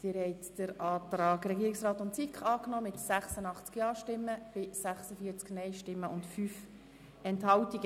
Sie haben den Antrag Regierungsrat/SiK angenommen mit 86 Ja- gegen 46 Nein-Stimmen bei 5 Enthaltungen.